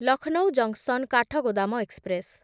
Lucknow junction Kathgodam express